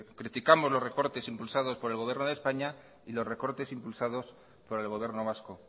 criticamos los recortes impulsados por el gobierno de españa y los recortes impulsados por el gobierno vasco